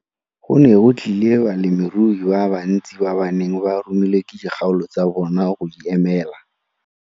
Go ne go tlile balemirui ba bantsi ba ba neng ba romilwe ke dikgaolo tsa bona go di emela.